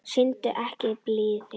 Sýndu ekki blíðu.